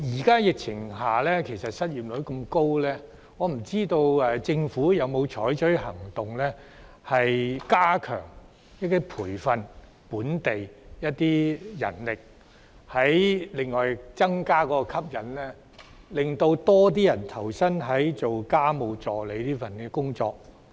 鑒於現時失業率高企，政府有否採取行動加強培訓本地家務助理，並增加工作吸引力，令更多人願意投身這份工作？